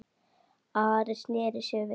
Ari sneri sér við.